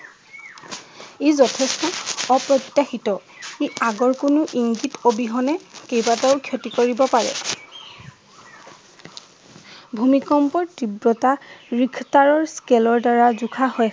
ই যথেষ্ট অপ্ৰত্যাষিত। ই আগৰ কোনো ইংগিত অবিহনে কেইবাটাও ক্ষতি কৰিব পাৰে। ভূমিকম্পৰ তিব্ৰতা ৰিখটাৰৰ স্কেলৰ দ্বাৰা জোখা হয়।